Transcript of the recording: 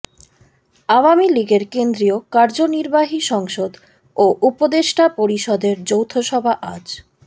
আওয়ামী লীগের কেন্দ্রীয় কার্যনির্বাহী সংসদ ও উপদেষ্টা পরিষদের যৌথসভা আজ